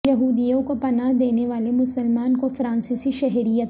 یہودیوں کو پناہ دینے والے مسلمان کو فرانسیسی شہریت